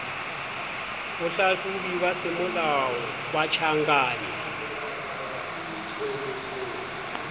bohlahlobi ba semolao ba ditjhankane